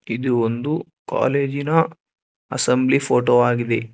ಇದು ಒಂದು ಕಾಲೇಜಿ ನ ಅಸೆಂಬ್ಲಿ ಫೋಟೋ ಆಗಿದೆ.